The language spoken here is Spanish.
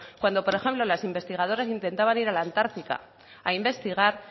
cuando por ejemplo las investigadoras intentaban ir a la antártica a investigar